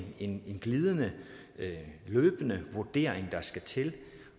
en løbende vurdering der skal til